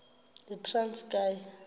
yitranskayi